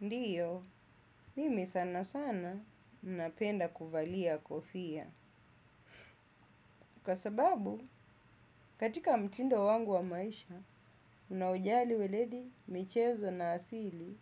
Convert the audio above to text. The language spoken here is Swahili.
Ndio, mimi sana sana napenda kuvalia kofia. Kwa sababu, katika mtindo wangu wa maisha, unaojali weledi, michezo na asili,